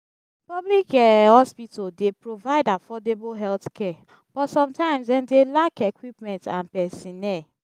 public um hospital dey provide affordable healthcare but sometimes dem dey lack equipment and pesinnel.